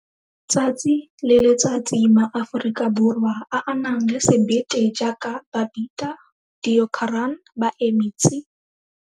Tsatsi le letsatsi, maAforika Borwa a a nang le sebete jaaka Babita Deokaran ba eme tsi!